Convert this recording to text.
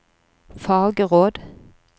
fagråd